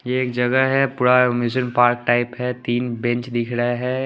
ये एक जगह है पूरा मिशन पार्ट टाइप है तीन बेंच दिख रहा है।